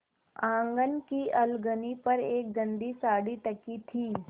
आँगन की अलगनी पर एक गंदी साड़ी टंगी थी